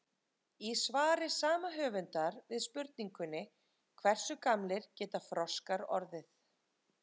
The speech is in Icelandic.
Í svari sama höfundar við spurningunni Hversu gamlir geta froskar orðið?